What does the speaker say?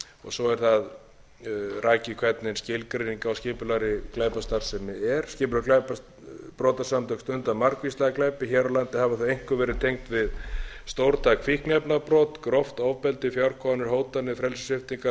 svo er það rakið hvernig skilgreinig á skipulagðri glæpastarfsemi er skipulögð brotasamtök stunda margvíslega glæpi hér á landi hafa ári einkum verið tengd við stórtæk fíkniefnabrot gróft ofbeldi fjárkúganir hótanir frelsissviptingar